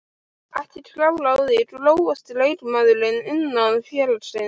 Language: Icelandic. Ekki klár á því Grófasti leikmaður innan félagsins?